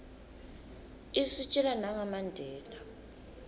isitjela nanga mandela